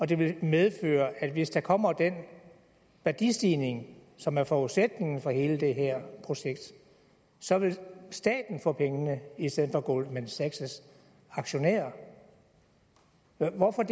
det ikke medføre hvis der kommer den værdistigning som er forudsætningen for hele det her projekt at så ville staten få pengene i stedet for goldman sachs aktionærer hvorfor er